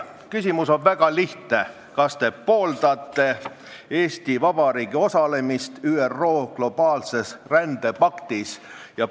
Küsimus on väga lihtne: kas te pooldate Eesti Vabariigi osalemist ÜRO globaalses rändepaktis?